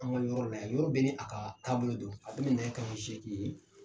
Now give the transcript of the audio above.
An ka yɔrɔ la yan. Yɔrɔ bɛɛ ni a ka taabolo don, a be na ni taama seki ye.